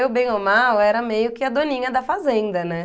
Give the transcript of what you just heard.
Eu, bem ou mal, era meio que a doninha da fazenda, né?